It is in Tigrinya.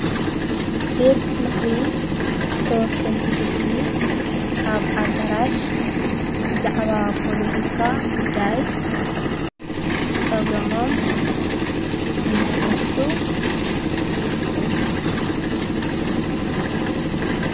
ቤት ምኽሪ ተወከልቲ ሕዝቢ ኣብ ኣዳራሽ ብዛዕባ ፖሎቲካ ጉዳይ ጸገሞም እናፈትሑ ይርክቡ